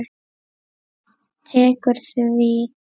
Tekur því?